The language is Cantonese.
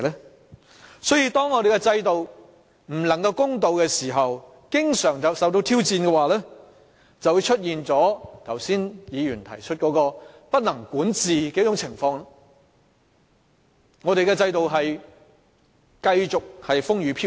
由此可見，當我們的制度不公平並經常受到挑戰的話，便會出現議員剛才所提及的不能管治的情況，我們的制度便會繼續受到動搖。